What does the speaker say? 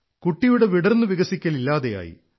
കുട്ടിയുടെ വിടർന്നുവികസിക്കൽ ഇല്ലാതെയായി